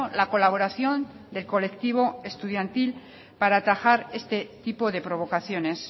la colaboración del colectivo estudiantil para atajar este tipo de provocaciones